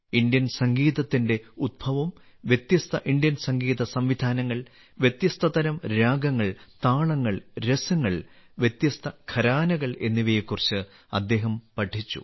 Indian സംഗീതത്തിന്റെ ഉത്ഭവം വ്യത്യസ്ത ഇന്ത്യൻ സംഗീത സംവിധാനങ്ങൾ വ്യത്യസ്തതരം രാഗങ്ങൾ താളങ്ങൾ രസങ്ങൾ വ്യത്യസ്ത ഘരാനകൾ എന്നിവയെക്കുറിച്ച് അദ്ദേഹം പഠിച്ചു